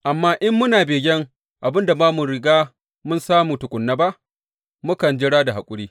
Amma in muna begen abin da ba mu riga mun samu tukuna ba, mukan jira da haƙuri.